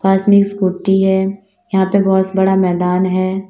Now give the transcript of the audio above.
इसमें स्कूटी है यहाँ पे बहुत बड़ा मैदान है।